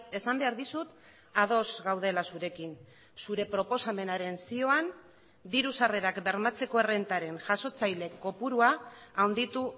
esan behar dizut ados gaudela zurekin zure proposamenaren zioan diru sarrerak bermatzeko errentaren jasotzaile kopurua handitu